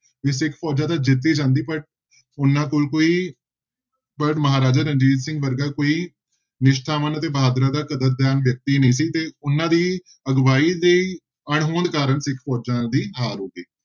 ਨਹੀਂ ਸਿੱਖ ਫੋਜ਼ਾਂ ਤੇ ਜਿੱਤ ਹੀ ਜਾਂਦੀ ਉਹਨਾਂ ਕੋਲ ਕੋਈ ਪਰ ਮਹਾਰਾਜਾ ਰਣਜੀਤ ਸਿੰਘ ਵਰਗਾ ਕੋਈ ਨਿਸ਼ਠਾਵਾਨ ਅਤੇ ਬਹਾਦਰਾਂ ਦਾ ਕਦਰਦਾਨ ਵਿਅਕਤੀ ਨਹੀਂ ਸੀ ਤੇ ਉਹਨਾਂ ਦੀ ਅਗਵਾਈ ਦੀ ਅਣਹੋਂਦ ਕਾਰਨ ਸਿੱਖ ਫੋਜ਼ਾਂ ਦੀ ਹਾਰ ਹੋ ਗਈ।